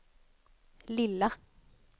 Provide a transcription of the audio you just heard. lilla